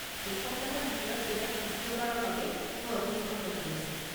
দুসপ্তাহৰ ভিতৰত এইবাৰ তৃতীয়বাৰৰ বাবে মই অসুস্থ হৈ পৰিছো।